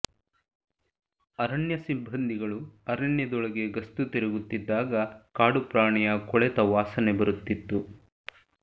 ಅರಣ್ಯ ಸಿಬ್ಬಂದಿಗಳು ಅರಣ್ಯದೊಳಗೆ ಗಸ್ತು ತಿರುಗುತ್ತಿದ್ದಾಗ ಕಾಡುಪ್ರಾಣಿಯ ಕೊಳೆತ ವಾಸನೆ ಬರುತಿದ್ದು